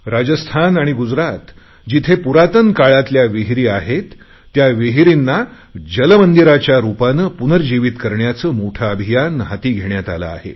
राजस्थन आणि गुजरात जिथे पुरातन कालव्यातल्या विहीरी आहेत त्या विहीरींना जलमंदिराच्या रुपाने पुनर्जिवीत करण्याचे मोठे अभियान हाती घेण्यात आले आहे